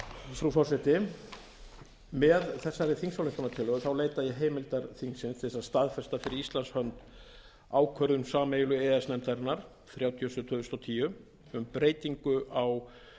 frú forseti með þessari þingsályktunartillögu leita ég heimildar þingsins til að staðfesta fyrir íslands hönd ákvörðun sameiginlegu e e s nefndarinnar númer þrjátíu og sjö tvö þúsund og tíu um breytingu á